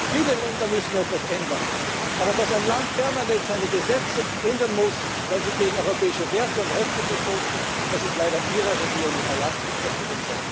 ändern. Viele Länder müssen etwas ändern, aber dass ein Land permanent seine Gesetze ändern muss, weil sie gegen europäische Werte und Rechte verstoßen, das ist leider Ihrer Regierung überlassen, und das